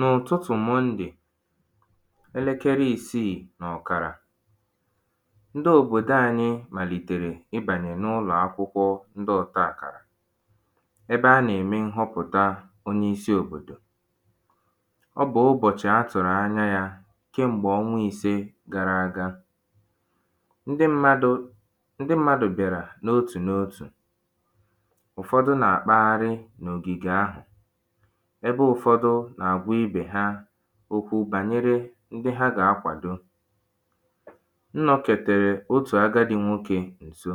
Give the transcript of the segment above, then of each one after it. n’ụ̀tụtụ̀ Mọndè elekere isiì nà ọ̀kàrà ndị òbòdo ānyị̄ màlìtèrè ịbànyè n’ụlọ̀ akwụkwọ ndị ọ̄tā àkàrà ebe a nà-ème ṅhọpụ̀ta ọ bụ̀ ụbọ̀chị a tụ̀rụ̀ anya yā kem̀gbè ọnwa īsē gara aga ndị mmadụ̄ ndị mmadụ̀ bịàrà n’otù n’otù ụfọdụ nà-àkpagharị n’ògìgè ahụ̀ ebe ụ̀fọdụ nà àgwa ibè ha okwu bànyere ndị ha gà-akwàdo m nọkètèrè otù agadi nwokē ǹso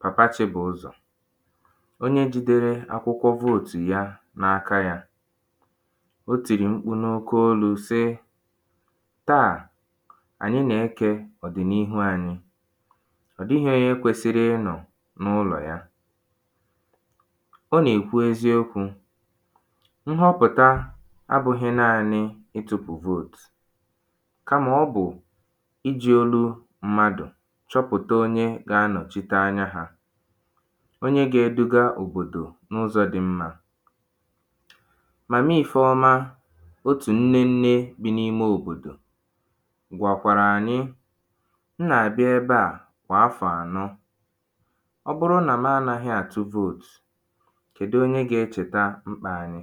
pàpa Chịbụ̀ụzọ̀ onye jīdērē akwụkwọ voòtù ya n’aka yā o tìrì mkpu n’oke olū sị taà ànyị nà-ekè ọ̀dị̀nihu ānyị̄ ọ̀ dịhị onye kwesiri ̣ịnọ̀ n’ụlọ̀ ya ọ nà-èkwu eziokwū ṅhọpụ̀ta abụ̄hị̄ naānī ịtụ̄pụ̀ voòtù kamà ọ bụ̀ ijī̄ olu mmadụ̀ chọpụ̀ta onye ga-anọ̀chite anya hā onye gāeduga òbòdò n’ụzọ̄ dị mmā Màma Ifeọma Otù nnennē bi n’me òbòdò gwàkwàrà ànyị m nà-àbịa ebe a kwà afọ̀ àno ọ bụrụ nà m anāhị̄ àtụ voòtù kèdu onye gā-echèta mkpā anyị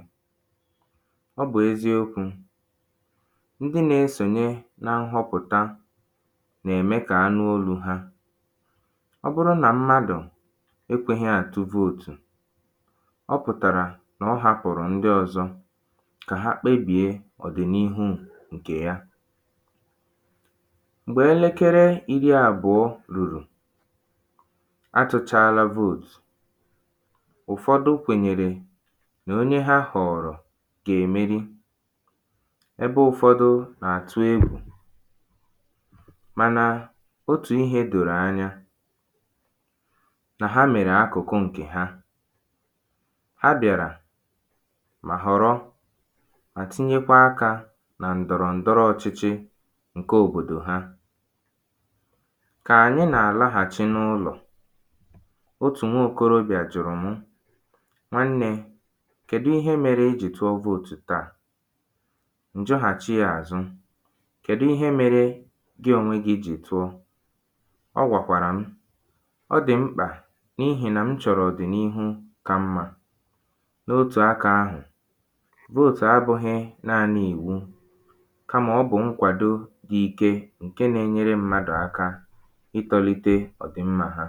ọ bụ̀ eziokwū ndị nā-esònye na ṅhọpụta nà-ème kà a nụ olū hā ọ bụrụ nà mmadụ̀ ekwēhī àtụ voòtù ọ pụ̀tàrà nà ọ hāpụ̀rụ̀ ndị ọ̄zọ̄ kà ha kpebìe ọ̀dị̀nihu ṅ̀kè ya m̀gbè elekere iri àbụọ lùrù a tụ̄chāālā voòtù ụ̀fọdụ kwènyèrè nà onye ha họ̀ọ̀rọ̀ gà-èmeri ebe ụ̄fọ̄dụ̄ nà-àtụ egwù mànà otù ihē dòrò anya nà ha mèrè akụ̀kụ ṅ̀kè ha ha bịàrà mà họ̀rọ mà tinyekwa akā nà ǹdọ̀rọ̀ǹdọrọ ọchịchị ṅ̀ke obòdò ha kà ànyị nà-àlahachị n’ụlọ̀ otù nwokōrōbịà jụ̀rụ̀ mụ nwannē kèdu ihe mērē i jì tụọ voòtù taà? M̀ jụhàchi yā àzụ Kèdu ihe mērē Gị ònwe gị̄ jì tụọ ọ gwàkwàrà m ọ dị̀ mkpà n’ihì nà m chọ̀rọ̀ ọ̀dị̀nihu ka mmā n’otù akā ahụ̀ voòtù abụ̄hī naānị̄ ìwu kamà ọ bụ̀ ṅkwàdo dị ike ṅ̀ke nā-enyere mmadụ̀ aka ịkpọlite ọ̀dịmmā hā